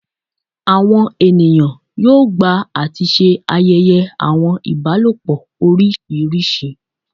Awọn eniyan yoo gba ati ṣe ayẹyẹ awọn ibalopọ oriṣiriṣi